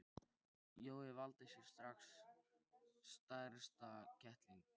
Jói valdi sér strax stærsta kettlinginn.